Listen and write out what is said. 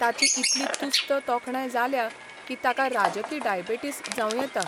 ताची इतली तुस्त तोखणाय जाल्या की ताका राजकी डायबेटिस जावं येता.